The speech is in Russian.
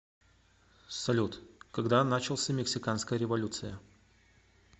салют когда начался мексиканская революция